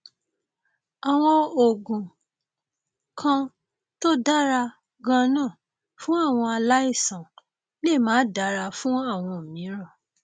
àwọn oògùn kan tó dára ganan fún àwọn aláìsàn lè máà dára fún àwọn mìíràn